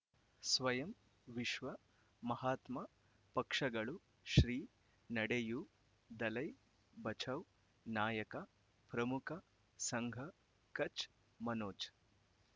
ಸ್ವಯಂ ವಿಶ್ವ ಮಹಾತ್ಮ ಪಕ್ಷಗಳು ಶ್ರೀ ನಡೆಯೂ ದಲೈ ಬಚೌ ನಾಯಕ ಪ್ರಮುಖ ಸಂಘ ಕಚ್ ಮನೋಜ್